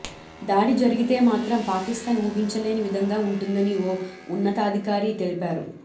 దాడి జరిగితే మాత్రం పాకిస్థాన్ ఊహించలేని విధంగా ఉంటుందని ఓ ఉన్నతాధికారి తెలిపారు